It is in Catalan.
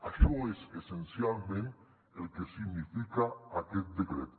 això és essencialment el que significa aquest decret